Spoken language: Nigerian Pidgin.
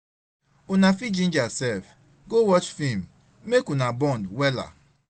una fit ginger sef go watch film mek una bond wella